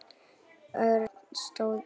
Örn stóð upp.